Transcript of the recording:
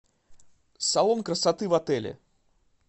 салон красоты в отеле